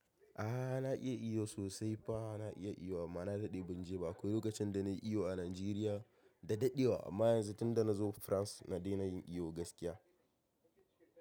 A'a na iya iyo sosai fa na iya iyo anma na daɗe ban je ba akwai lokacin da na yi iyo a Najeriya da daɗewa amma yanzu tunda na zo France na daina yin iyo gaskiya.